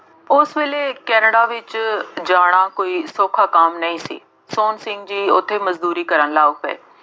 ਉਸ ਵੇਲੇ ਕੇਨੈਡਾ ਵਿੱਚ ਜਾਣਾ ਕੋਈ ਸੌਖਾ ਕੰਮ ਨਹੀਂ ਸੀ। ਸੋਹਣ ਸਿੰਘ ਜੀ ਉੱਥੇ ਮਜ਼ਦੂਰੀ ਕਰਨ ਲੱਗ ਪਏ।